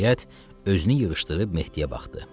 Nəhayət, özünü yığışdırıb Mehdiyə baxdı.